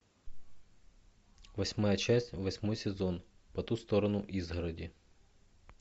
восьмая часть восьмой сезон по ту сторону изгороди